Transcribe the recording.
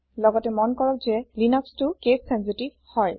লগতে মন কৰক যে লিনাক্চটো কেছ চেঞ্চিতিভ হয়